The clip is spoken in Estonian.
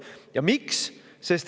Ja miks?